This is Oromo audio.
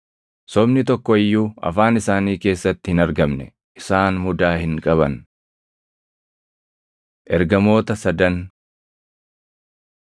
Sobni tokko iyyuu afaan isaanii keessatti hin argamne; isaan mudaa hin qaban. Ergamoota Sadan